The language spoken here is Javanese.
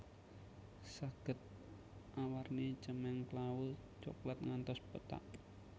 Saged awarni cemeng klawu coklat ngantos pethak